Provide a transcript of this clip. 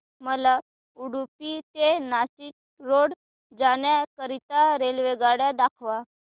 मला उडुपी ते नाशिक रोड जाण्या करीता रेल्वेगाड्या दाखवा